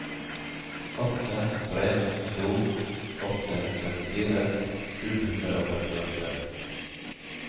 åtte tre to åtte trettifire sju hundre og femtiåtte